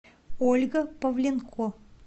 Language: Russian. ольга павленко